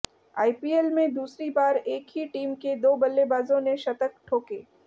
IPL में दूसरी बार एक ही टीम के दो बल्लेबाजों ने शतक ठोके